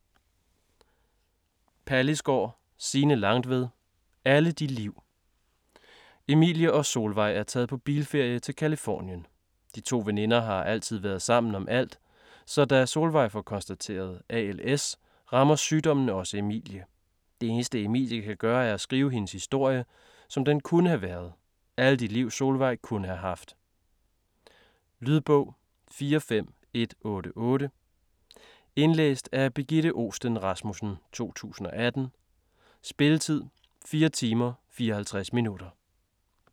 Pallisgaard, Signe Langtved: Alle de liv Emilie og Solveig er taget på bilferie til Californien. De to veninder har altid været sammen om alt, så da Solveig får konstateret ALS rammer sygdommen også Emilie. Det eneste Emilie kan gøre er at skrive hendes historie, som den kunne have været - alle de liv Solveig kunne have haft. Lydbog 45188 Indlæst af Birgitte Ohsten Rasmussen, 2018. Spilletid: 4 timer, 54 minutter.